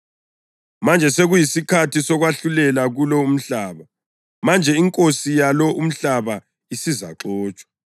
Manje sekuyisikhathi sokwahlulela kulo umhlaba; manje inkosi yalo umhlaba isizaxotshwa.